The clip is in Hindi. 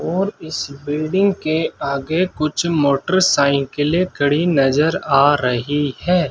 और इस बिल्डिंग के आगे कुछ मोटरसाइकिले खड़ी नजर आ रही है।